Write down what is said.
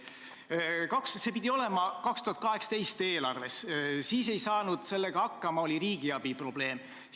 See pidi olema 2018. aasta eelarves, siis ei saanud te sellega hakkama, oli riigiabi lubatavuse probleem.